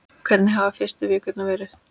Hvernig hafa fyrstu vikurnar verið?